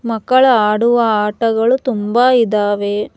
ಮಕ್ಕಳು ಆಡುವ ಆಟಗಳು ತುಂಬ ಇದಾವೆ.